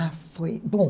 Ah, foi... Bom...